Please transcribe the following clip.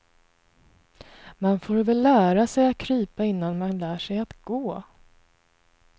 Man får väl lära sig att krypa innan man lär sig att gå.